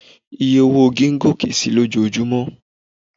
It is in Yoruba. Oye owó igi ń gòkè si lójojúmọ́.